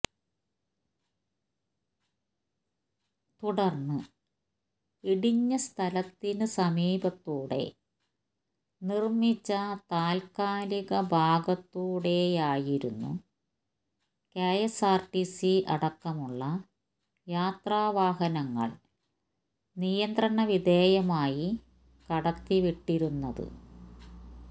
തുടര്ന്ന് ഇടിഞ്ഞസ്ഥലത്തിന് സമീപത്തൂടെ നിര്മ്മിച്ച താല്ക്കാലിക ഭാഗത്തൂടെയായിരുന്നു കെഎസ്ആര്ടി അടക്കമുള്ള യാത്രാ വാഹനങ്ങള് നിയന്ത്രണ വിധേയമായി കടത്തി വിട്ടിരുന്നത്